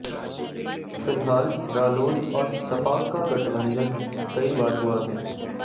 फिलहाल रालोद और सपा का गठबंधन कई बार हुआ है